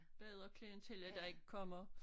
Bedre klientel at der ikke kommer